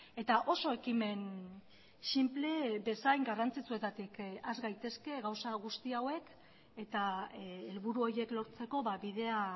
eta oso ekimen sinple bezain garrantzitsuetatik has gaitezke gauza guzti hauek eta helburu horiek lortzeko bidea